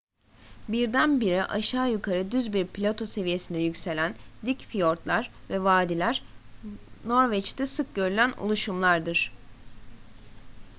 birdenbire aşağı yukarı düz bir plato seviyesine yükselen dik fiyortlar ve vadiler norveç'te sık görülen oluşumlardır